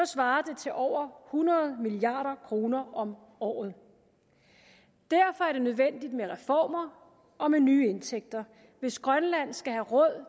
svarer det til over hundrede milliard kroner om året derfor er det nødvendigt med reformer og med nye indtægter hvis grønland skal have råd